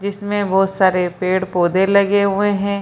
जिसमें बहुत सारे पेड़-पौधे लगे हुए हैं।